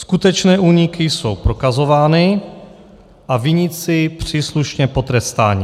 Skutečné úniky jsou prokazovány a viníci příslušně potrestáni.